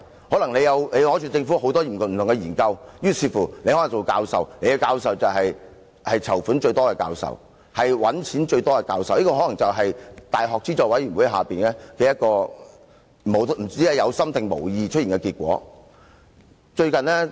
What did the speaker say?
可能你取得政府很多不同的研究，於是你可以作為"籌款"、"賺錢"最多的教授，這也可能是教資會下，一個不知是有心還是無意出現的結果。